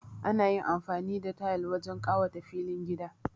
Ana amfani da tayal wajen kawata filin gida